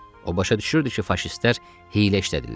O başa düşürdü ki, faşistlər hiylə işlədirlər.